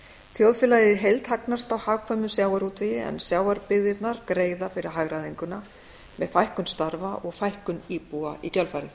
þjóðfélagið í heild hagnast á hagkvæmum sjávarútvegi en sjávarbyggðirnar greiða fyrir hagræðinguna með fækkun starfa og fækkun íbúa í kjölfarið